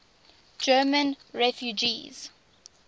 german refugees